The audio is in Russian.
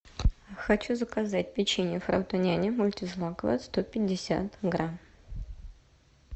хочу заказать печенье фрутоняня мультизлаковое сто пятьдесят грамм